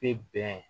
Bɛ bɛn